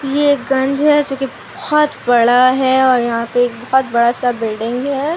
ये गंज है जो की बहोत बडा है और यहां पे एक बहोत बड़ा सा बिल्डिंग है।